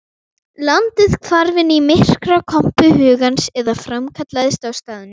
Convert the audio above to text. Landið hvarf inn í myrkrakompu hugans eða framkallaðist á staðnum.